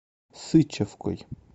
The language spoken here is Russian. сычевкой